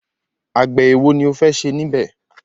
Àgbẹ̀ ẹ̀wo ni o fẹ́ ṣe níbẹ̀?